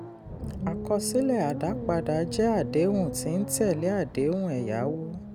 àkọsílẹ̀ àdápadà jẹ́ adéhùn tí ń tẹ̀lé àdéhùn ẹ̀yáwó.